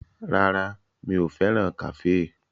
Rárá, mi ò fẹ́ràn kàféè